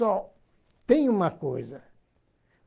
Só tem uma coisa.